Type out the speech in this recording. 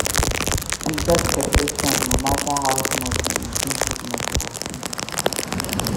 We gats create time no matter how small to maintain fitness for city.